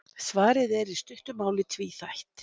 Svarið er í stuttu máli tvíþætt.